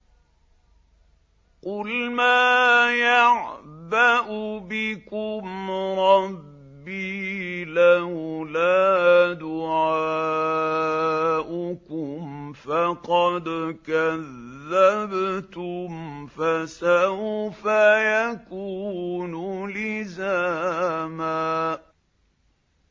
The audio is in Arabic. قُلْ مَا يَعْبَأُ بِكُمْ رَبِّي لَوْلَا دُعَاؤُكُمْ ۖ فَقَدْ كَذَّبْتُمْ فَسَوْفَ يَكُونُ لِزَامًا